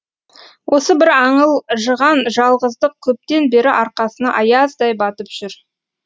осы бір аңылжыған жалғыздық көптен бері арқасына аяздай батып жүр